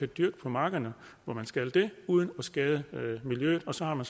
dyrke på markerne hvor man skal det uden at skade miljøet og så har man